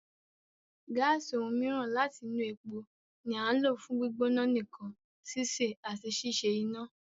Gáàsì, ohun mìíràn láti inú epo, ni à ń lò fún gbígbóná nǹkan, sísè, àti ṣíṣe iná.